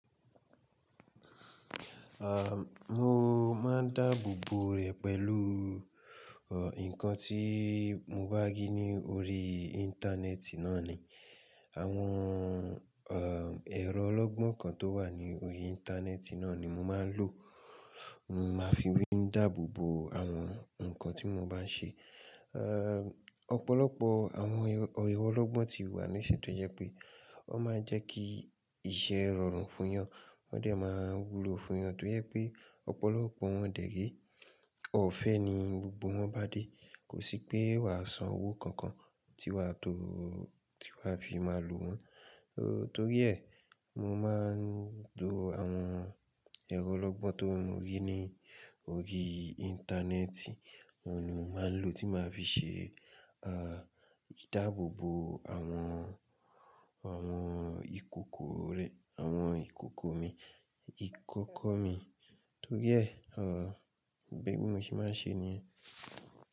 À, mo máa ń dáàbò bò rẹ̀ pẹ̀lú, ọ, nǹkan tí mo bá rí ní orí íńtánẹ́ẹ̀tì náà ni. Àwọn, ọ, ẹ̀rọ ọlọ́gbọ́n kan tó wà ní orí íńtánẹ́ẹ̀tì náà ni mo máa ń lò. Mo máa fi wí ń dáàbò bò àwọn ǹkan tí mo bá ń ṣe. Ehn, ọ̀pọ̀lọpọ̀ àwọn ero ọlọ́gbọ́n ti wà níṣẹ́ tó yẹ pé wọ́n máa ń jẹ́ kí iṣẹ́ rọrùn fún eyan. Wọ́n dẹ̀ máa ń wúlo fún wọn torí pé ọ̀pọ̀lọpọ̀ wọn dẹ̀ ré. Òfẹ́ ni gbogbo wọn bá dé. Kò sí pé wà á san owó kankan tí wà tó, tí wà fi máa lò wọ́n. Torí ẹ, mo máa ń lo àwọn ẹ̀rọ ọlọ́gbọ́n tó rí ní orí íńtánẹ́ẹ̀tì, òun ni mo máa ń lò tí màá fi ṣe, a, ìdáàbò bò àwọn, àwọn ìkòkò rẹ̀, àwọn ìkòkò mi, ìkókó mi. Torí ẹ, ọ, bẹ́ẹ̀ ni mo ṣe máa ń ṣe niyen.